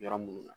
Yɔrɔ minnu na